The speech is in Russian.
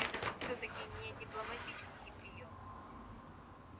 это же всё-таки не дипломатический приём